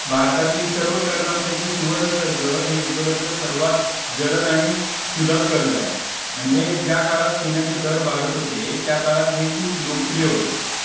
भारतातील सर्व कर्जांपैकी सुवर्ण कर्ज हे उपलब्ध सर्वात जलद आणि सुलभ कर्जाय म्हणजे ज्या काळात सोन्याचे दर वाढत होते त्या काळात हे खूप लोकप्रिय होते.